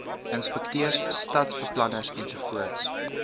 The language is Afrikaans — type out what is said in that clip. inspekteurs stadsbeplanners ensovoorts